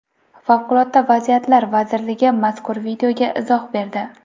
Favqulodda vaziyatlar vazirligi mazkur videoga izoh berdi.